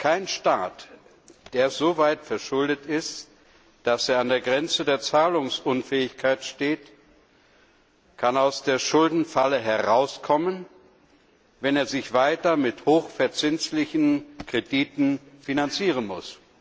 Kein Staat, der so hoch verschuldet ist, dass er an der Grenze zur Zahlungsunfähigkeit steht, kann aus der Schuldenfalle herauskommen, wenn er sich weiter mit hochverzinslichen Krediten finanzieren muss.